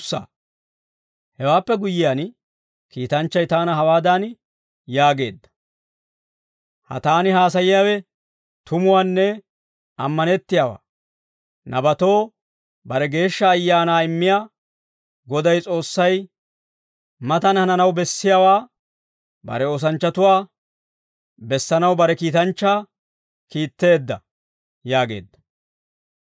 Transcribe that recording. Hewaappe guyyiyaan, kiitanchchay taana hawaadan yaageedda; «Ha taani haasayiyaawe tumuwaanne ammanettiyaawaa. Nabatoo bare Geeshsha Ayaanaa immiyaa Goday S'oossay, matan hananaw bessiyaawaa bare oosanchchatuwaa bessanaw bare kiitanchchaa kiitteedda» yaageedda.